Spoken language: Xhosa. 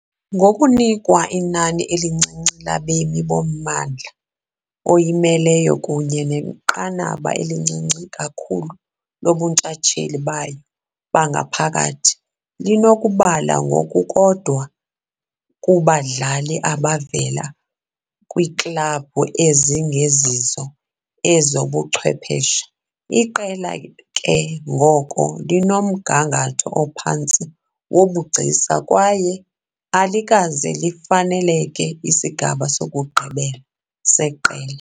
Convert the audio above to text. Ngokunikwa inani elincinci labemi bommandla oyimeleyo kunye nenqanaba elincinci kakhulu lobuntshatsheli bayo bangaphakathi, linokubala ngokukodwa kubadlali abavela kwiiklabhu ezingezizo ezobuchwephesha- iqela ke ngoko linomgangatho ophantsi wobugcisa kwaye alikaze lifanelekele isigaba sokugqibela seqela.